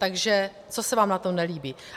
Takže co se vám na tom nelíbí?